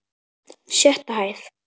Sjötta hæð.